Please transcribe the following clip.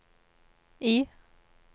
I